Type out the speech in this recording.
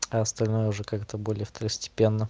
а остальное уже как-то более второстепенно